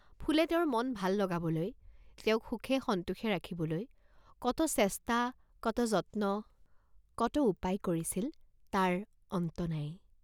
ফুলে তেওঁৰ মন ভাল লগাবলৈ, তেওঁক সুখে সন্তোষে ৰাখিবলৈ কত চেষ্টা, কত যত্ন, কত উপায় কৰিছিল তাৰ অন্ত নাই।